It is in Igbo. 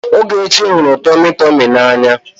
Ogechi hụrụ tọmị tọmị n'anya.